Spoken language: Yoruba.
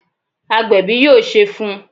Agbẹ̀bi yóò Ṣé fun